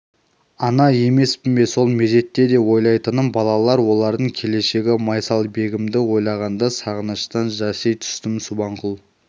ана емеспін бе сол мезетте де ойлайтыным балалар олардың келешегі майсалбегімді ойлағанда сағыныштан жаси түстім субанқұл